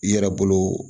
I yɛrɛ bolo